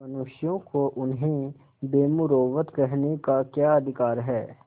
मनुष्यों को उन्हें बेमुरौवत कहने का क्या अधिकार है